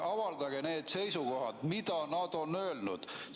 Avaldage need seisukohad, mida nad on öelnud.